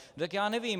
Tak já nevím.